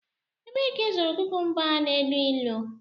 Ebee ka ịzụrụ kukumba a na-elu ilu?